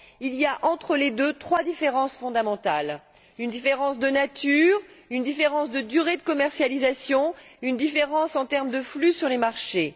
Il y a entre les deux trois différences fondamentales une différence de nature, une différence de durée de commercialisation et une différence en termes de flux sur les marchés.